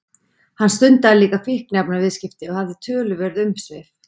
Hann stundaði líka fíkniefnaviðskipti og hafði töluverð umsvif.